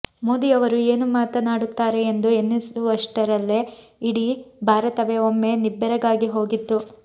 ಮೋದಿಯವರು ಏನು ಮಾತನಾಡುತ್ತಾರೆ ಎಂದು ಎನಿಸುವಷ್ಟರಲ್ಲೇ ಇಡೀ ಭಾರತವೇ ಒಮ್ಮೆ ನಿಬ್ಬೆರಗಾಗಿ ಹೋಗಿತ್ತು